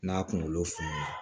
N'a kunkolo funun na